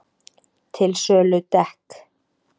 Til sölu dekk